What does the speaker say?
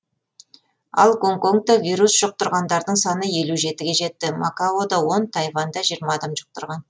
ал гонконгта вирус жұқтырғандардың саны елу жетіге жетті макаода он тайванда жиырма адам жұқтырған